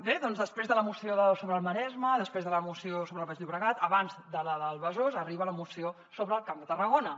bé doncs després de la moció sobre el maresme després de la moció sobre el baix llobregat abans de la del besòs arriba la moció sobre el camp de tarragona